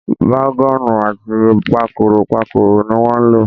Bágọ́ọ̀nù àti pakòròpakòrò ni wọ́n lò.